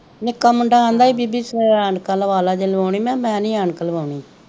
ਨਿੱਕਾ ਮੁੰਡਾ ਆਦਾ ਸੀ ਬੀਬੀ ਐਨਕਾਂ ਲਵਾ ਲਾ ਜੇ ਲਵਾਉਣੀ ਮਹਾ ਮੈ ਨੀ ਐਨਕ ਲਵਾਉਣੀ